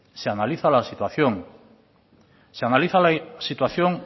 se analiza la situación se analiza la situación